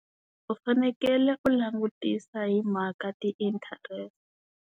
U fanekele u langutisa hi mhaka ti-interest.